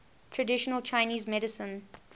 traditional chinese medicine